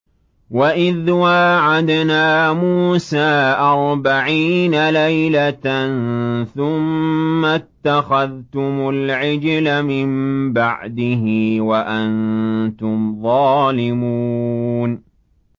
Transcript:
وَإِذْ وَاعَدْنَا مُوسَىٰ أَرْبَعِينَ لَيْلَةً ثُمَّ اتَّخَذْتُمُ الْعِجْلَ مِن بَعْدِهِ وَأَنتُمْ ظَالِمُونَ